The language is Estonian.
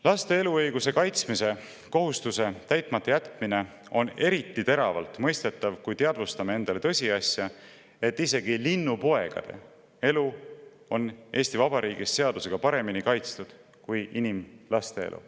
Laste eluõiguse kaitsmise kohustuse täitmata jätmine on eriti teravalt, kui teadvustame endale tõsiasja, et isegi linnupoegade elu on Eesti Vabariigis seadustega paremini kaitstud kui inimlaste elu.